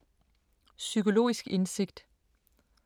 Psykologisk indsigt